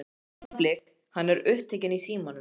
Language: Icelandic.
Augnablik, hann er upptekinn í símanum.